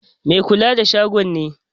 Mai kula da shagon ne.